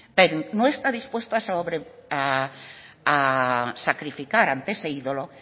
no está dispuesto a sacrificar ante ese ídolo